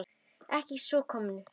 Ekki að svo komnu.